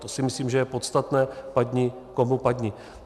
To si myslím, že je podstatné, padni komu padni.